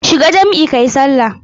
Shiga jam'i kayi sallah.